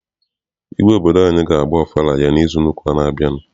Igwe obodo anyị ga agba ọfala ya n'izu ụka n'abia.